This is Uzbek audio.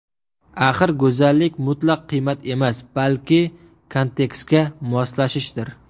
Axir go‘zallik mutlaq qiymat emas, balki kontekstga moslashishdir.